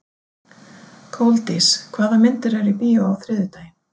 Koldís, hvaða myndir eru í bíó á þriðjudaginn?